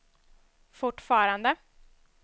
fortfarande